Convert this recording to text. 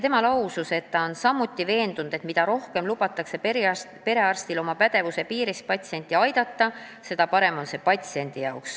Tema lausus, et ta on samuti veendunud, et mida rohkem lubatakse perearstil oma pädevuse piires patsienti aidata, seda parem patsiendile.